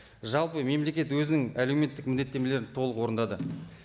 жалпы мемлекет өзінің әлеуметтік міндеттемелерін толық орындады